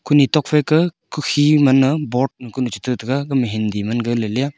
kune thopha ka ku he ngan ya board chataga ga ma hindi mat ga ley ya.